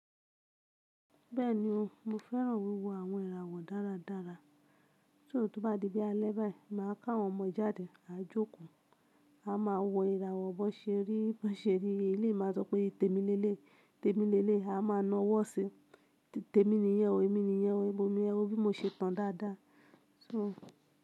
Bẹ́ẹ̀ni o, mo fẹ́ràn wíwo àwọn ìràwọ̀ dáradára. Tó bá di pé alẹ́ báyìí, máa ká àwọn ọmọ jáde, a jókòó, a máa wo ìràwọ̀, bọ́ ṣeri, bọ́ ṣeri eléyi máa sọ pé "tèmi lelé, tèmi lelé i," a máa na ọwọ́ sí i, tèmi niyẹn o, èmi niyẹn o, èmi niyẹn o, bí mo ṣe tán dáadáa. So.